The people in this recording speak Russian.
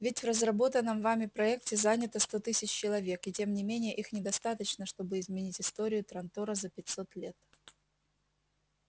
ведь в разработанном вами проекте занято сто тысяч человек и тем не менее их недостаточно чтобы изменить историю трантора за пятьсот лет